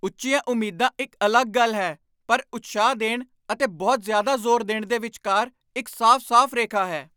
ਉੱਚੀਆਂ ਉਮੀਦਾਂ ਇੱਕ ਅਲੱਗ ਗੱਲ ਹੈ, ਪਰ ਉਤਸ਼ਾਹ ਦੇਣ ਅਤੇ ਬਹੁਤ ਜ਼ਿਆਦਾ ਜ਼ੋਰ ਦੇਣ ਦੇ ਵਿਚਕਾਰ ਇੱਕ ਸਾਫ਼ ਸਾਫ਼ ਰੇਖਾ ਹੈ